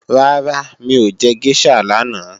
Rárá mi ò jẹ géṣà lánàá